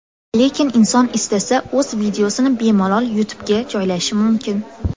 Lekin inson istasa o‘z videosini bemalol YouTube’ga joylashi mumkin.